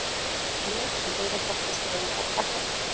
Lög sem auðvelda fóstureyðingar gagnrýnd